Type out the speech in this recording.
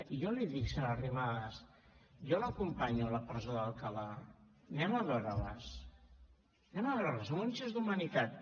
i jo li dic senyora arrimadas jo l’acompanyo a la presó d’alcalà anem a veure les en un gest d’humanitat